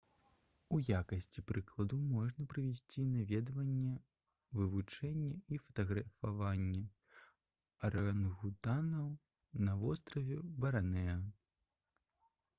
у якасці прыкладу можна прывесці наведванне вывучэнне і фатаграфаванне арангутанаў на востраве барнэа